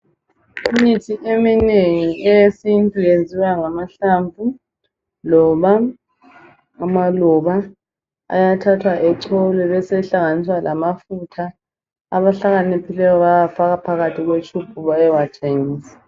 Imithi eminengi eyesintu iyenziwa ngamahlamvu loba amaluba ayathathwa echolwe ebesehlanganiswa lamafutha abahlakaniphileyo bayawufaka phakathi kwetshubhu beyewathengisa.